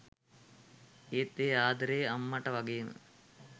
ඒත් ඒ ආදරේ අම්මට වගේම